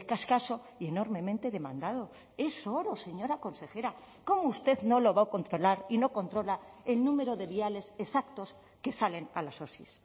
escaso y enormemente demandado es oro señora consejera cómo usted no lo va a controlar y no controla el número de viales exactos que salen a las osi